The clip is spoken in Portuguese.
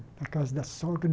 Na Casa da Sogra.